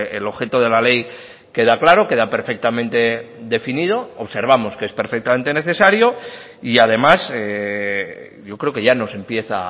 el objeto de la ley queda claro queda perfectamente definido observamos que es perfectamente necesario y además yo creo que ya nos empieza